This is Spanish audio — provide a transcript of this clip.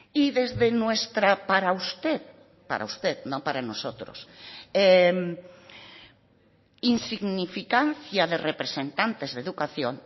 y desde nuestra para usted para usted no para nosotros insignificancia de representantes de educación